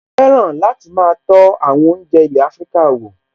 Mo fẹ́ràn láti máa tọ́ àwọn oúnjẹ ilé Afíríkà wò